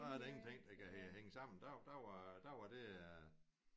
Så er der ingenting der kan hænge sammen der der var der var det